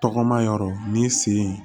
Tɔgɔma yɔrɔ ni sen in